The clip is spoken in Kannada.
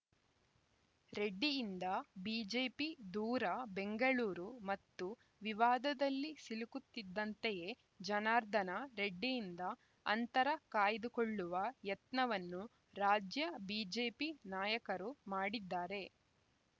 ರೆಡ್ಡಿಯಿಂದ ಬಿಜೆಪಿ ದೂರ ಬೆಂಗಳೂರು ಮತ್ತೊಂದು ವಿವಾದದಲ್ಲಿ ಸಿಲುಕುತ್ತಿದ್ದಂತೆಯೇ ಜನಾರ್ದನ ರೆಡ್ಡಿಯಿಂದ ಅಂತರ ಕಾಯ್ದುಕೊಳ್ಳುವ ಯತ್ನವನ್ನು ರಾಜ್ಯ ಬಿಜೆಪಿ ನಾಯಕರು ಮಾಡಿದ್ದಾರೆ